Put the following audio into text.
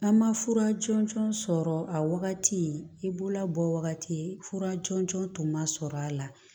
N'an ma fura jɔnjɔn sɔrɔ a wagati bololabɔ wagati fura jɔnjɔn tun man sɔrɔ a la